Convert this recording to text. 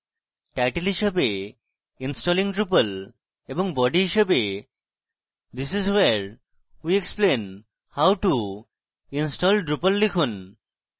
title হিসাবে installing drupal এবং body হিসাবে this is where we explain how to install drupal লিখুন